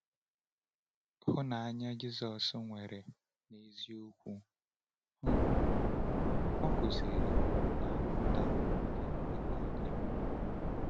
Hụnanya Jisọs nwere n’eziokwu um o kụziri na-apụta ìhè mgbe niile.